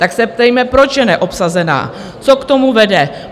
Tak se ptejme, proč je neobsazená, co k tomu vede?